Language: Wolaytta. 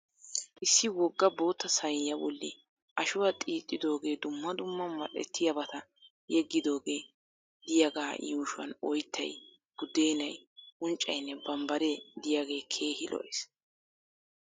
Issi wogga bootta sayiniyaa bolli Ashuwa xiixxidoogee dumma dumma mal'ettiyabata yeggidoogee diyagaa yuushuwan oyittay, buddeenay, unccayinne bambbaree diyagee heehi lo'es